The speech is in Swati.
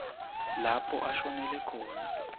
lapho ashonele khona